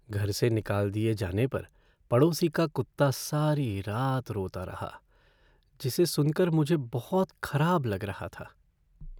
घर से निकाल दिए जाने पर पड़ोसी का कुत्ता सारी रात रोता रहा जिसे सुनकर मुझे बहुत खराब लग रहा था।